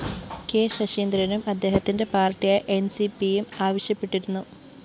K ശശീന്ദ്രനും അദ്ദേഹത്തിന്റെ പാര്‍ട്ടിയായ എന്‍സിപിയും ആവശ്യപ്പെട്ടിരുന്നു